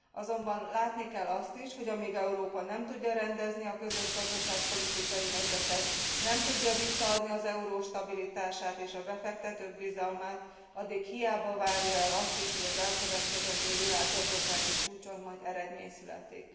Azonban látni kell azt is, hogy amíg Európa nem tudja rendezni a közös gazdaságpolitikai helyzetet, nem tudja visszaadni az euró stabilitását és a befektetők bizalmát, addig hiába várja el azt is, hogy az elkövetkezendő világgazdasági csúcson majd eredmény születik.